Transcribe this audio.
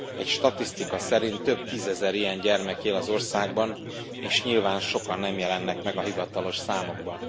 Egy statisztika szerint több tízezer ilyen gyermek él az országban és nyilván sokan nem jelennek meg a hivatalos számokban.